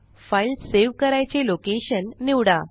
file save करायचे location निवडा